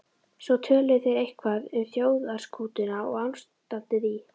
Svo töluðu þeir eitthvað um þjóðarskútuna og ástandið í